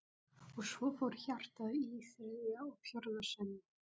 Og svo fór hjartað í þriðja og fjórða sinn.